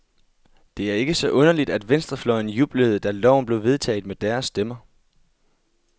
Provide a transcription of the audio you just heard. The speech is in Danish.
Det er kke så underligt, at venstrefløjen jublede, da loven blev vedtaget med deres stemmer.